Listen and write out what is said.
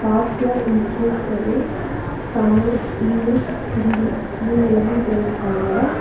Pasteur institute சொல்லி Tamil English Hindi மூனு லாங்குவேஜ்ல எழுதிருக்காங்க.